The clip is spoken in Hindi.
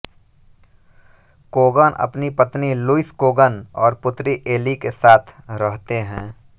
कोगन अपनी पत्नी लुईस कोगन और पुत्री एली के साथ रहते हैं